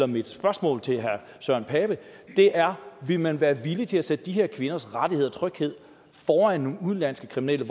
mit spørgsmål til herre søren pape er vil man være villig til at sætte de her kvinders rettigheder og tryghed foran nogle udenlandske kriminelle